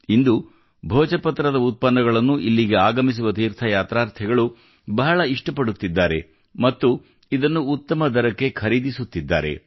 ಇಂದು ಭೋಜಪತ್ರದ ಉತ್ಪನ್ನಗಳನ್ನು ಇಲ್ಲಿಗೆ ಆಗಮಿಸುವ ತೀರ್ಥಯಾತ್ರಾರ್ಥಿಗಳು ಬಹಳ ಇಷ್ಟಪಡುತ್ತಿದ್ದಾರೆ ಮತ್ತು ಇದನ್ನು ಉತ್ತಮ ದರಕ್ಕೆ ಖರೀದಿಸುತ್ತಿದ್ದಾರೆ